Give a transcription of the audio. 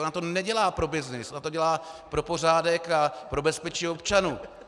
Ona to nedělá pro byznys, ona to dělá pro pořádek a pro bezpečí občanů.